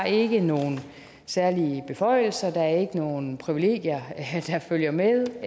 ikke nogen særlige beføjelser der er ikke nogen privilegier der følger med